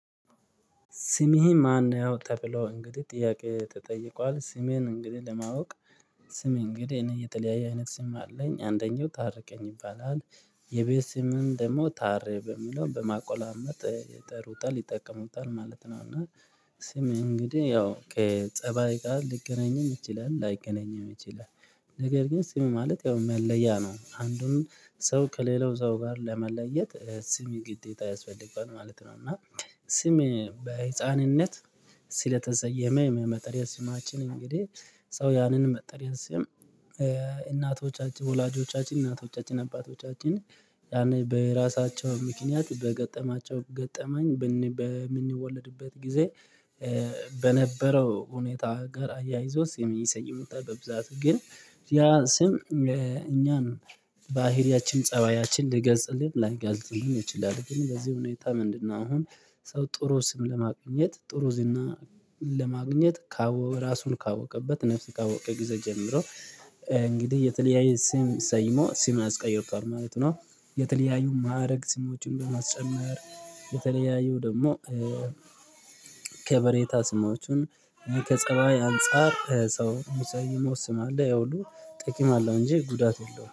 ስሜ ማን ነው? ተብሎ እንግዲህ ጥያቄ ተጠይቋል ስሜን እንግዲህ ለማወቅ ስሜ እንግዲህ እኔ የጣሊያን አይነት ስም አለኝ አንደኛው ታርቀኝ ይባላል የቤት ስምን ደግሞ ታሬ በምለው በማቆላመጥ ይጠሩታል ይጠቀሙታል ማለት ነው። እና ስም እንግዲህ ያው ከጸባይ ቃል ልገናኝም ይችላል ላይገናኝም ይችላል። ነገር ግን ስም ማለት ያው መለያ ነው አንዱን ሰው ከሌላው ሰው ጋር ለመለየት ስም ግዴታ ያስፈልገዋል ማለት ነው። እና ስም በህፃንነት ስለተሰየመ የመጠሪያ ስማችን እንግዲህ ሰው ያንን መጠሪያ ስም እናቶቻችን ወላጆቻችን እናቶቻችን አባቶቻችን ያኔ በራሳቸው ምክንያት በገጠማቸው ገጠመኝ በምንወለድበት ጊዜ በነበረው ሁኔታ ጋር አያይዞት ስም የሚሰይሙት በብዛት ግን ያ ስም እኛን ባህሪያችን ፀባያችን ልገዝልኝ ላይገዝልኝ እችላለሁ። ግን በዚህ ሁኔታ ምንድነው አሁን ሰው ጥሩ ስም ለማግኘት ጥሩ ዝና ለማግኘት ካወቀ እራሱን ካወቀበት ነፍስ ካወቀ ጊዜ ጀምሮ እንግዲህ የተለያየ ስም ሰይሞ ስም አስቀይሮታል ማለት ነው። የተለያየ ማዕረግ ስሞችን በማስጨመር የተለያየው ደግሞ ከበሬታ ስማችሁን ከፀባይ አንፃር ሰው መሰየሙ ስም አለ ይኸውሉ ጠቂም አለው እንጂ ጉዳት የለውም